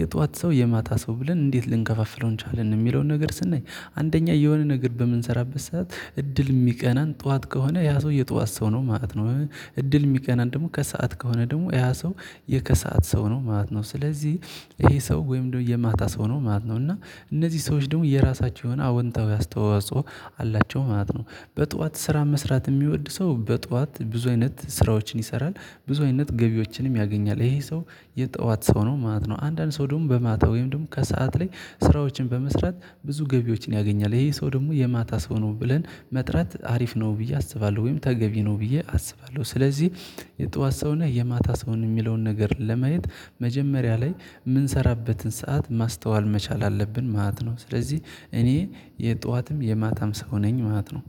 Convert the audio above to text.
የጧት ሰው የማታ ሰው ብለን እንዴት ልንከፋፍለው እንችላለን? የሚለውን ነገር ስናይ አንደኛ የሆነ ነገር በምንሰራበት ሰዓት እድል የሚቀናን ጠዋት ከሆነ ያ ሰው የጠዋት ሰው ነው ማለት ነው። እድል የሚቀናን ደግሞ ከሰአት ከሆነ ደግሞ ያ ሰው የከሰአት ሰው ነው ማለት ነው። ስለዚህ ይሄ ሰው ወይም ደግሞ የማታ ሰው ነው ማለት ነው። እና እነዚህ ሰዎች ደግሞ የራሳቸው የሆነ አወንታዊ አስተዋጽኦ አላቸው ማለት ነው። በጧት ስራ መስራት የሚወድ ሰው በጧት ብዙ አይነት ስራዎችን ይሰራ፤ ብዙ አይነት ገቢዎችንም ያገኛል። ይሄ ሰው የጧት ሰው ነው ማለት ነው። አንዳንድ ሰው ደግሞ በማታ ወይም ደግሞ ከሰአት ላይ ስራዎችን በመስራት ብዙ ገቢዎችን ያገኛል። ይሄ ሰው ደግሞ የማታ ሰው ነው ብለን መጥራት አሪፍ ነው ብዬ አስባለሁ። ወይም ተገቢ ነው ብዬ አስባለሁ። ስለዚህ የጧት ሰው ነው የማታ ሰው ነህ? የሚለውን ነገር ለማየት መጀመሪያ ላይ የምንሰራበትን ሰዓት ማስተዋል መቻል አለብን ማለት ነው። ስለዚህ እኔ የጧትም የማታም ሰው ነኝ ማት ነው።